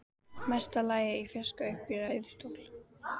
Mesta lagi í fjarska uppi í ræðustól.